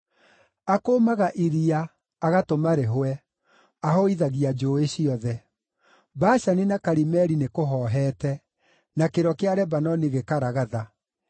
Akũũmaga iria, agatũma rĩhũe; ahũithagia njũũĩ ciothe. Bashani na Karimeli nĩkũhoohete, na kĩro kĩa Lebanoni gĩkaragatha.